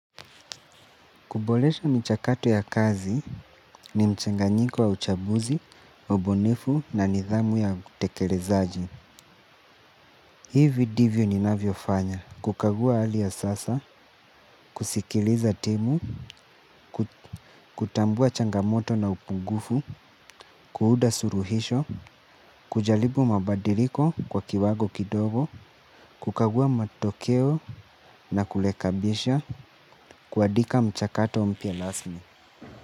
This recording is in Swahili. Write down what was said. Kuboresha mchakato ya kazi ni mchanganyiko wa uchambuzi, ubunifu na nidhamu ya utekelezaji. Hivyo ndivyo ninavyo fanya kukagua hali ya sasa kusikiliza timu kutambua changamoto na upungufu kuunda suluhisho kujaribu mabadiliko kwa kiwango kidogo kukagua matokeo na kurekebisha kuandika mchakato mpya rasmi.